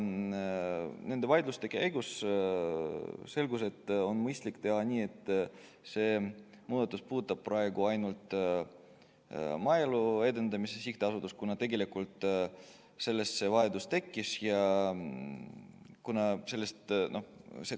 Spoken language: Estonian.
Nende vaidluste käigus selgus, et on mõistlik teha nii, et see muudatus puudutaks praegu ainult Maaelu Edendamise Sihtasutust, kuna tegelikult sellest see vajadus tekkis.